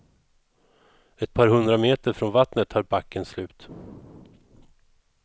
Ett par hundra meter från vattnet tar backen slut.